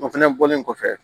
O fɛnɛ bɔlen kɔfɛ